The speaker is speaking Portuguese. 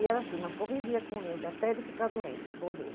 E era assim, mas convivia com ele, até ele ficar doente, morrer.